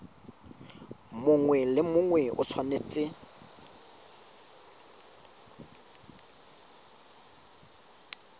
mongwe le mongwe o tshwanetse